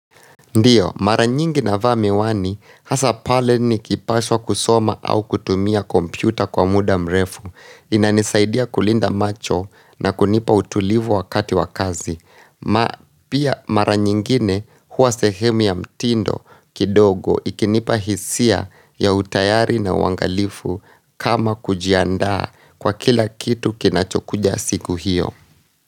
Ndiyo mara nyingi navaa miwani hasa pale ni kipashwa kusoma au kutumia kompyuta kwa muda mrefu inanisaidia kulinda macho na kunipa utulivu wakati wa kazi ma pia mara nyingine huwa sehemu ya mtindo kidogo ikinipa hisia ya utayari na uwangalifu kama kujiandaa kwa kila kitu kinachokuja siku hiyo.